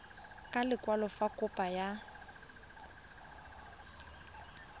ka lekwalo fa kopo ya